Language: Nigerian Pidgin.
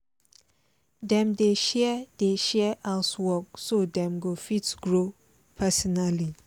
dem dey share dey share house work so dem go fit grow personally